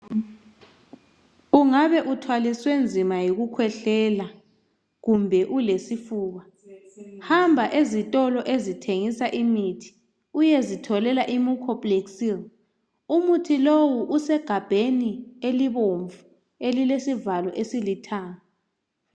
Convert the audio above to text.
Ungabe uthwaliswe nzima yikukhwehlela kumbe ulesifuba hamba ezitolo ezithengisa imithi uyezitholela iMucoplexil lowu usegabheni elibomvu elile sivalo esilithanga